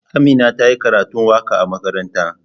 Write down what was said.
Amina ta yi karatun waka a makaranta.